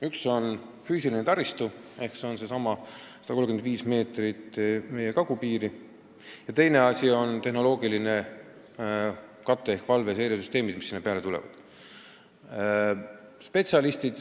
Üks on füüsiline taristu ehk needsamad 135 kilomeetrit piiri ning teine asi on tehnoloogiline kate ehk valve- ja seiresüsteemid, mis sinna peale tulevad.